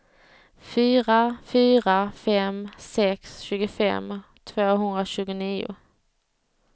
fyra fyra fem sex tjugofem tvåhundratjugonio